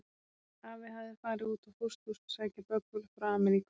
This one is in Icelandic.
Afi hafði farið út á pósthús að sækja böggul frá Ameríku.